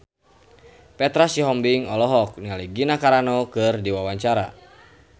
Petra Sihombing olohok ningali Gina Carano keur diwawancara